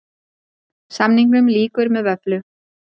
Samningum lýkur með vöfflu